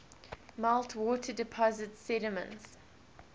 meltwater deposits sediments